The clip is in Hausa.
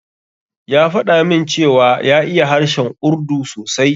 Ya faɗa min cewa ya iya harshen Urdu sosai.